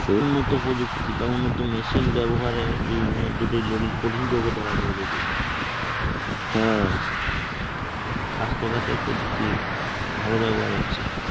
উন্নত প্রযুক্তি, উন্নত মেশিন ব্যবহারে বিভিন্ন জটিল দলিল কঠিন রোগও ধরা পড়ে যাইতেছে. স্বাস্থ্যখাতের প্রযুক্তির ভালো ব্যবহার হচ্ছে.